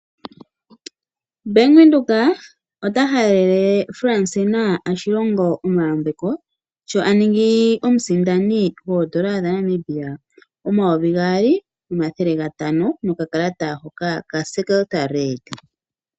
Bank Windhoek ota halele Francina ya Shilongo omayambeko sho a ningi omusindani goondola dha Namibia omayovi gaali nomathele gatano nokakalata hoka ka Secreta red.